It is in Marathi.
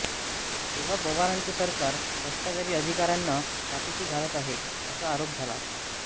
तेव्हा पवारांचे सरकार भ्रष्टाचारी अधिकाऱ्यांना पाठीशी घालत आहे असा आरोप झाला